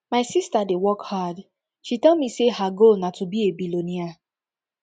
my sister dey work hard she tell me say her goal na to be a billionaire